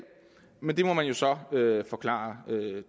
men det må man jo så forklare